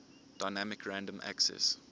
dynamic random access